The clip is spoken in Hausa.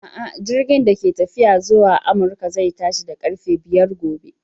A'a, jirigin da ke tafiya zuwa Amurka zai tashi da ƙarfe biyar gobe.